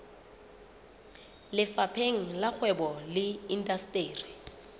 lefapheng la kgwebo le indasteri